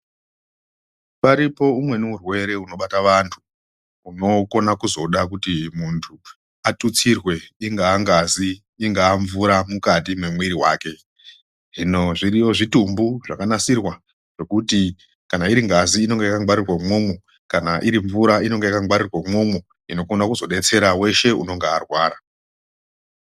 Varipo umweni urwere unobata vantu unokona kuzoda kuti muntu atutsirwe ingava ngazi ingava mukati memwiri wake hino zviriyo Zvitumbu zvakanasirwa ngekuti kana iri ngazi inenge yakangwarirwa imwowmwo kana iri mvura inenge yakangwarirwa imwomwo inokona kuzodetsera weshe anenge arwara.